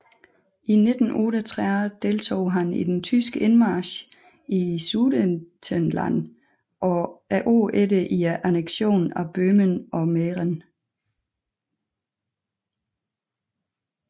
I 1938 deltog han i den tyske indmarch i Sudetenland og året efter i anneksionen af Böhmen og Mähren